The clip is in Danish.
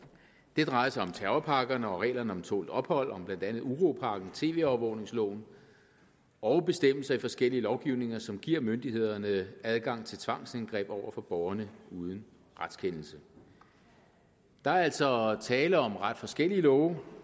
det drejer sig om terrorpakkerne og reglerne om tålt ophold om blandt andet uropakken tv overvågnings loven og bestemmelser i forskellige lovgivninger som giver myndighederne adgang til tvangsindgreb over for borgerne uden retskendelse der er altså tale om ret forskellige love